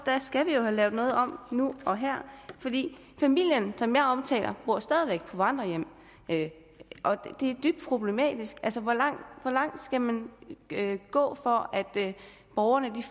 skal vi have lavet noget om nu og her familien som jeg omtalte bor stadig væk på vandrerhjem og det er dybt problematisk altså hvor langt skal man gå for at borgerne